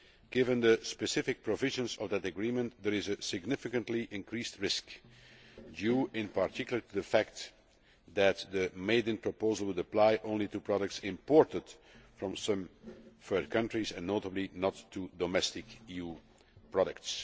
Given the specific provisions of that agreement, there is a significantly increased risk, due in particular to the fact that the made in' proposal would apply only to products imported from some third countries and, notably, not to domestic EU products.